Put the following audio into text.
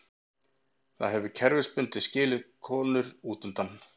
Það hefur kerfisbundið skilið konur útundan.